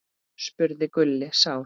spurði Gulli sár.